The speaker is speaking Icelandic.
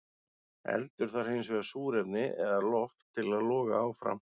Eldur þarf hins vegar súrefni eða loft til að loga áfram.